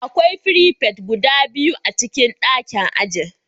Akwai prefect guda biyu a cikin ɗakin ajin